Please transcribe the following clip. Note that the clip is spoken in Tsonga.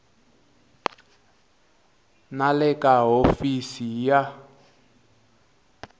na le ka hofisi ya